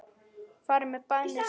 Farið með bænir sagði hann.